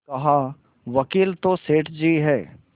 कहावकील तो सेठ जी हैं